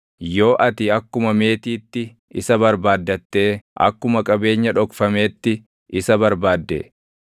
yoo ati akkuma meetiitti isa barbaaddattee akkuma qabeenya dhokfameetti isa barbaadde,